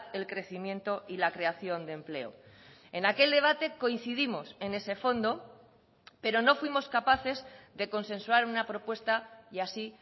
el crecimiento y la creación de empleo en aquel debate coincidimos en ese fondo pero no fuimos capaces de consensuar una propuesta y así